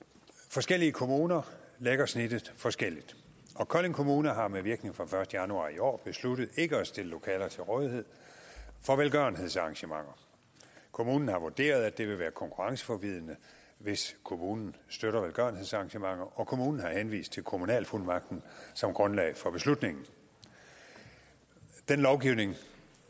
forskellige kommuner lægger snittet forskelligt og kolding kommune har med virkning fra første januar i år besluttet ikke at stille lokaler til rådighed for velgørenhedsarrangementer kommunen har vurderet at det vil være konkurrenceforvridende hvis kommunen støtter velgørenhedsarrangementer og kommunen har henvist til kommunalfuldmagten som grundlag for beslutningen den lovgivning